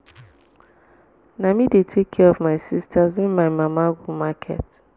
na me dey take care of my sistas wen my mama go market.